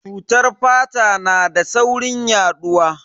Cutar fata na da saurin yaduwa.